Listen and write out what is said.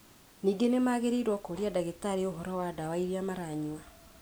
Ningĩ nĩ magĩrĩirũo kũũria ndagĩtarĩ ũhoro wĩgiĩ ndawa iria maranyua.